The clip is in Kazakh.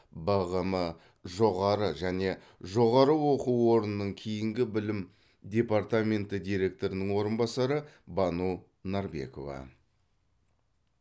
бғм жоғары және жоғары оқу орнынан кейінгі білім департаменті директорының орынбасары бану нарбекова